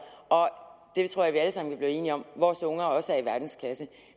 og jeg tror vi alle sammen kan blive enige om at vores unger også er i verdensklasse